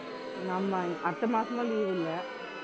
ஆமா அடுத்த மாசமும் leave இல்லை